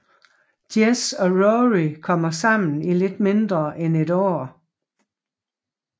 Jess og Rory kommer sammen i lidt mindre end et år